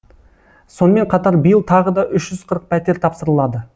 сонымен қатар биыл тағы да үш жүз қырық пәтер тапсырылады